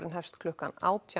hefst klukkan átján